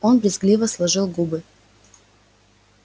он брезгливо сложил губы